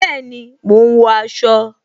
Bẹẹni, mo ń wọ aṣọ